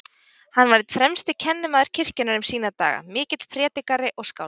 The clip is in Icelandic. Hann var einn fremsti kennimaður kirkjunnar um sína daga, mikill prédikari og skáld.